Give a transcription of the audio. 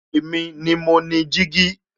Èmi ni mo ni jígí